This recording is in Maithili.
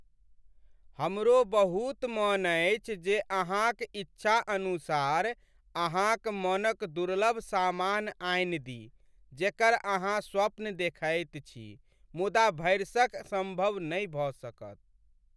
हमरो बहुत मन अछि जे अहाँक इच्छा अनुसार अहाँक मनक दुर्लभ सामान आनि दी जेकर अहाँ स्वप्न देखैत छी मुदा भरिसक संभव नहि भऽ सकत।